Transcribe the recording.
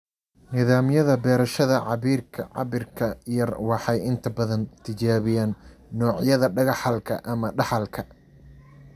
Nidaamyada beerashada cabbirka yar waxay inta badan tijaabiyaan noocyada dhaxalka ama dhaxalka.